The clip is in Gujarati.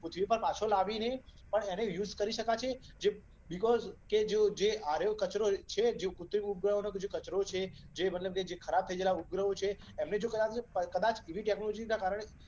પૃથ્વી પર પાછો લાવીને પણ એનો યુઝ કરી શકાશે. બીકોઝ આ રયો કચરો જે છે કૃત્રિમ ઉપગ્રહો નો જે કચરો છે કે જે મતલબ ખરાબ થઈ ગયેલા ઉપગ્રહો છે અને જો કદાચ એવી ટેક્નોલોજીના કારણે